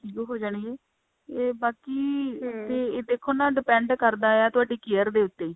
ਠੀਕ ਹੋ ਜਾਣਗੇ ਇਹ ਬਾਕੀ ਕੀ ਇਹਦੇ ਕੋਲ ਨਾ ਦੇਖੋ ਨਾ depend ਕਰਦਾ ਹੈ ਤੁਹਾਡੀ care ਦੇ ਉੱਤੇ